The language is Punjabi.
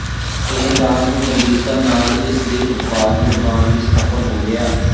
ਇਹ ਦਾਗ ਨੂੰ ਗੰਭੀਰਤਾ ਨਾਲ ਇਸ ਦੇ ਉਤਪਾਦ ਨਿਰਮਾਣ ਵਿਚ ਸਫ਼ਲ ਹੋ ਗਿਆ